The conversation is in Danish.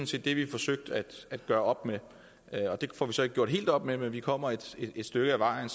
set det vi forsøgte at gøre op med og det får vi så ikke gjort helt op med men vi kommer et stykke ad vejen